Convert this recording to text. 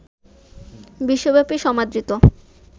বিশ্বব্যাপী সমাদৃত